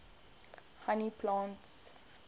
honey plants